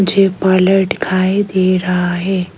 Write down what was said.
Table दिखाई दे रहा है।